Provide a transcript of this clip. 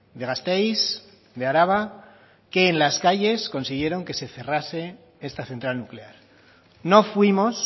de gasteiz de araba que en las calles consiguieron que se cerrase esta central nuclear no fuimos